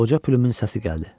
Qoca plyumun səsi gəldi.